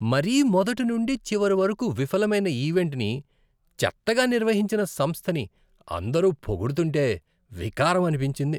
మరీ మొదటి నుండి చివరి వరకు విఫలమైన ఈవెంట్ని, చెత్తగా నిర్వహించిన సంస్థని అందరు పొగుడుతుంటే వికారం అనిపించింది.